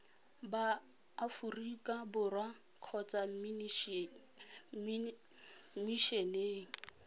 ba aforika borwa kgotsa mmishineng